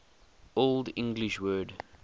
old english word